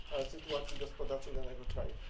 sytuacji gospodarczej danego kraju.